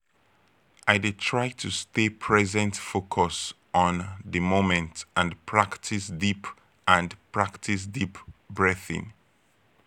i dey try to stay present focus on di moment and practice deep and practice deep breathing.